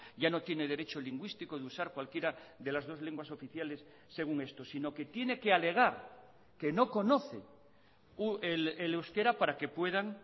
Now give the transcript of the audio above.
ya no tiene derecho lingüístico de usar cualquiera de las dos lenguas oficiales según esto sino que tiene que alegar que no conoce el euskera para que puedan